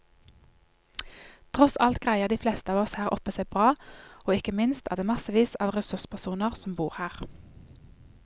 Tross alt greier de fleste av oss her oppe seg bra, og ikke minst er det massevis av ressurspersoner som bor her.